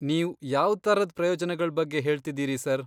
ನೀವ್ ಯಾವ್ಥರದ್ ಪ್ರಯೋಜ್ನಗಳ್ ಬಗ್ಗೆ ಹೇಳ್ತಿದೀರಿ ಸರ್?